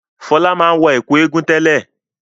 Fọlá máa ń wọ ẹ̀kú Egungun tẹ́lẹ̀.